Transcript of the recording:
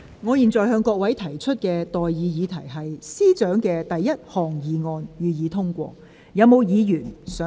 我現在向各位提出的待議議題是：政務司司長動議的第一項議案，予以通過。